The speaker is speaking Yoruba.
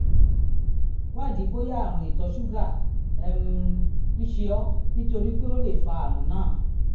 wádìí bóyá àrùn ìtọ̀ ṣúgà um ń ṣe ọ́ nítorí pé ó lè fa àrùn náà